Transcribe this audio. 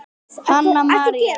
Hanna María.